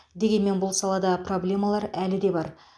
дегенмен бұл салада проблемалар әлі де бар